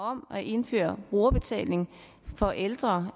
om at indføre brugerbetaling for ældre